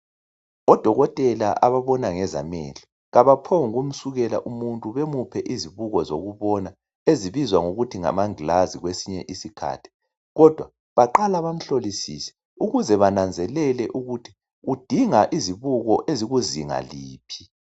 Odokotela ababona ngezamehlo abaphonguku msukela umuntu bemuphe izibuko zokubonwa ezibizwa ngokuthi ngamangilazi kwesinye isikhathi kodwa baqala bamhlolisise ukuze babone ukuthi udinga izibuko ezikuzinga liphi.